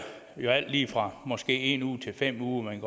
jo alt lige fra måske en uge til fem uger man